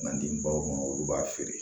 N'an di baw ma olu b'a feere